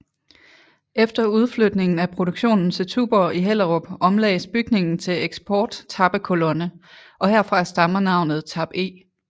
Efter udflytningen af produktionen til Tuborg i Hellerup omlagdes bygningen til Eksport tappekolonne og herfra stammer navnet Tap E